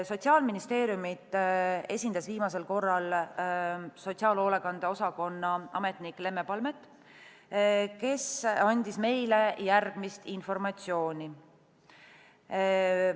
Sotsiaalministeeriumi esindas viimasel korral hoolekande osakonna ametnik Lemme Palmet, kes andis meile järgmist informatsiooni.